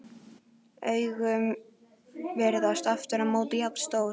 Augun virðast aftur á móti jafn stór.